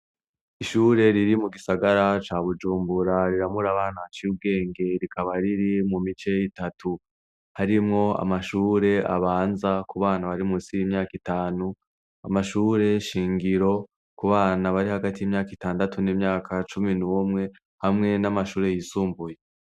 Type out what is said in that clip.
Ishure riri mu gisagara ca Bujumbura riramura abana baciye ubwenge rikaba riri mu mice itatu : harimwo amashure abanza ku bana bari munsi y'imyaka itanu, amashure shingiro ku bana bari hagati y'imyaka itandatu n'imyaka cumi n'umwe hamwe n'amashure yisumbuye.